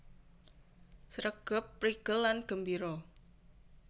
Sregep prigel lan gembira